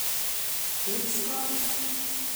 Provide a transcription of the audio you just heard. Epsko?